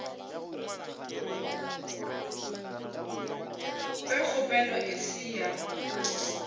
ge kgopelo e se ya